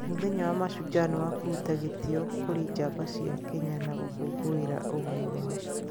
Mũthenya wa Mashujaa nĩ wakũruta gĩtĩo kũrĩ njamba cia Kenya na gũkũngũĩra ũgai wao.